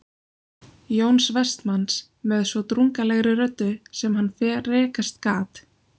Jóns Vestmanns með svo drungalegri röddu sem hann frekast gat